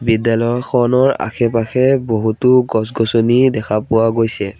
বিদ্যালয়খনৰ আশে-পাশে বহুতো গছ গছনি দেখা পোৱা গৈছে।